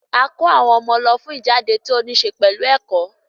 A kó àwọn ọmọ lọ fún ìjáde tó níṣẹ pẹ̀lú ẹ̀kọ́